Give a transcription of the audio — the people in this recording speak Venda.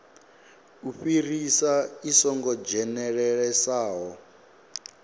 u fhirisa i songo dzhenelelesaho